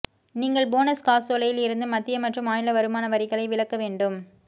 நீங்கள் போனஸ் காசோலையில் இருந்து மத்திய மற்றும் மாநில வருமான வரிகளை விலக்க வேண்டும்